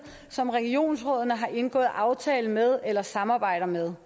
som regionsrådene har indgået aftale med eller samarbejder med